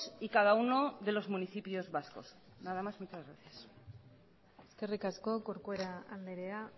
y cada uno de los municipios vascos nada más y muchas gracias eskerrik asko corcuera andrea